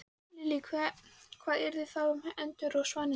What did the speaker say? Lillý: Hvað yrði þá um endurnar og svanina?